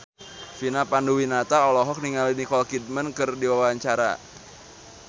Vina Panduwinata olohok ningali Nicole Kidman keur diwawancara